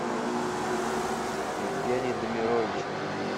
евгений дамирович